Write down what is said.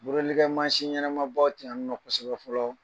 Borodelikɛ maasin ɲɛnɛma ba ti yan ninɔ kosɛbɛ fɔlɔ